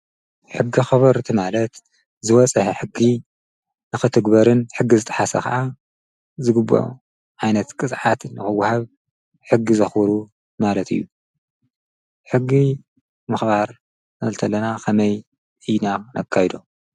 ሕጊ ኽበርቲ ማለት ዝወፅሐ ሕጊ ንኽትግበርን ሕጊ ዝተሓሰ ኸዓ ዝግብ ዓይነት ቅጽዓት ንኽውሃብ ሕጊ ዘኽሩ ማለት እዩ ሕጊ መኽባር ኣልተለና ኸመይ ይና ነካይዶ?